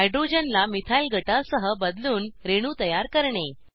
हायड्रोजनला methyl गटासह बदलून रेणू तयार करणे